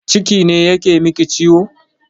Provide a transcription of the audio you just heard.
Ciki ne yake miki ciwo?